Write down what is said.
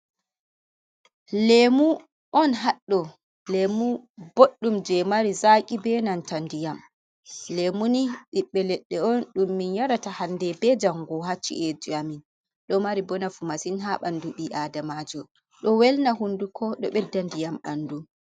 Lemu on haɗɗo, lemu boɗɗum je mari zaki benanta ndiyam, lemuni ɓiɓɓe ledde on ɗum min yarata hande be jango hacci’eji amin ɗo mari bonafu masin ha ɓandu ɓi adamajo ɗo welna hunduko ɗo bedda ndiyam ha ɓndu.